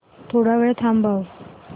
थोडा वेळ थांबव